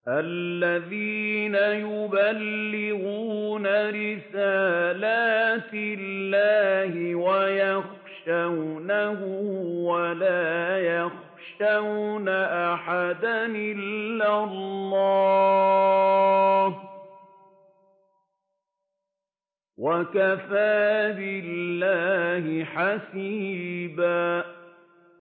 الَّذِينَ يُبَلِّغُونَ رِسَالَاتِ اللَّهِ وَيَخْشَوْنَهُ وَلَا يَخْشَوْنَ أَحَدًا إِلَّا اللَّهَ ۗ وَكَفَىٰ بِاللَّهِ حَسِيبًا